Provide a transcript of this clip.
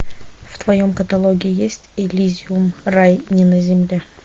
в твоем каталоге есть элизиум рай не на земле